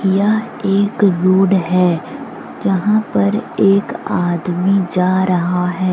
यह एक रोड है। जहां पर एक आदमी जा रहा है।